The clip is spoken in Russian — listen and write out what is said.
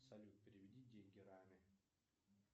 салют переведи деньги раме